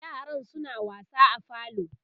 yaran suna wasa a falo